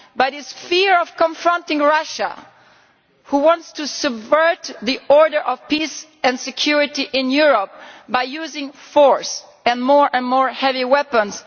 But there is this fear of confronting Russia, which wants to subvert the order of peace and security in Europe by using force and, more and more, heavy weapons.